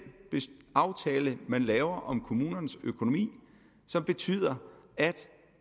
aftale man laver om kommunernes økonomi som betyder at